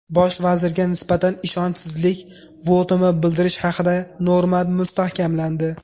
Bosh vazirga nisbatan ishonchsizlik votumi bildirish haqidagi norma mustahkamlandi.